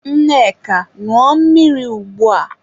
Nneka, ṅụọ mmiri ugbua!